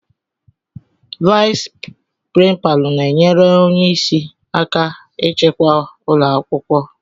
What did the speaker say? Vais prínpalu na enyere ónyé ịsị aka ịchịkwa ụlọakwụkwọ.